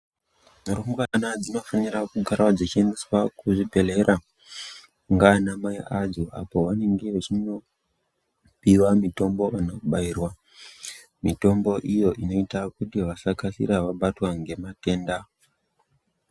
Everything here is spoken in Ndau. Rumbwana dzinofanira kugara dzichiendeswa kuzvibhedhlera nganamai adzo apo pavanenge vachinopiwa mitombo kana kubairwa mitombo iyo inoita kuti vasakasira vabatwa ngematenda.